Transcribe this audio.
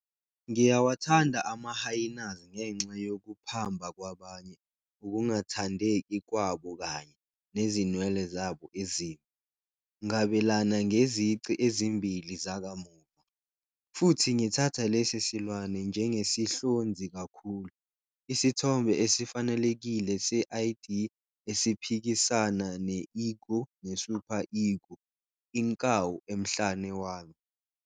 Ngiyawathanda ama-Hyaenas ngenxa yokuphamba kwabanye, ukungathandeki kwabo kanye" nezinwele zabo ezimbi "ngabelana ngezici ezimbili zakamuva. Futhi ngithatha lesi silwane njengesihlonzi kakhulu. isithombe esifanelekile 'se-id' esiphikisana ne-ego ne-super-ego, inkawu emhlane wami.